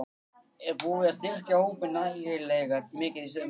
Er búið að styrkja hópinn nægilega mikið í sumar?